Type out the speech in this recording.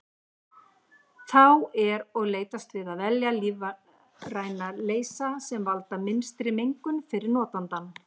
Þá er og leitast við að velja lífræna leysa sem valda minnstri mengun fyrir notandann.